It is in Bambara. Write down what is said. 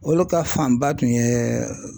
Olu ka fanba tun ye.